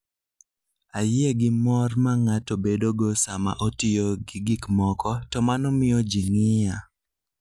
Ayie gi mor ma ng'ato bedogo sama otiyo gi gik moko, to mano miyo ji ng'iya.